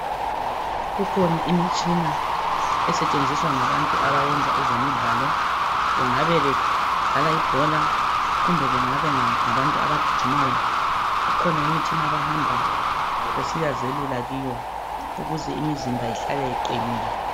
Kukhona imitshina esetshenziswa ngabantu abayenza ezemidlalo bengabe bedlala ibhola kumbe kungabe kungabantu abagijimayo ukhona imitshina abahamba besiyazelula kiyo ukuze imizimba ihlale iqinile